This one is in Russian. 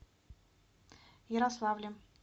ярославлем